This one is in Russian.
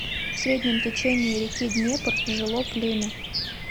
в среднем течении реки днепр жило племя